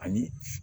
Ani